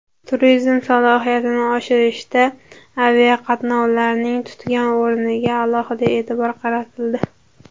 Turizm salohiyatini oshirishda aviaqatnovlarning tutgan o‘rniga alohida e’tibor qaratildi.